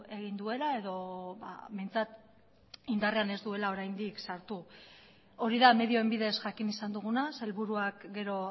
egin duela edo behintzat indarrean ez duela oraindik sartu hori da medioen bidez jakin izan duguna sailburuak gero